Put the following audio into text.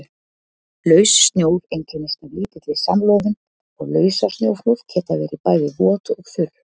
Laus snjór einkennist af lítilli samloðun og lausasnjóflóð geta verið bæði vot og þurr.